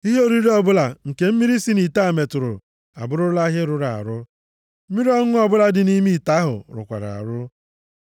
Ihe oriri ọbụla nke mmiri si nʼite a metụrụ abụrụla ihe rụrụ arụ. Mmiri ọṅụṅụ ọbụla dị nʼime ite ahụ rụkwara arụ.